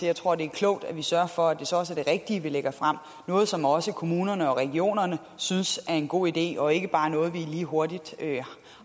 jeg tror det er klogt at vi sørger for at det så også er det rigtige vi lægger frem noget som også kommunerne og regionerne synes er en god idé og ikke bare noget som vi lige hurtigt